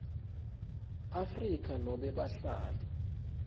afrika nobe bahlali